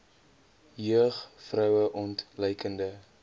jeug vroue ontluikende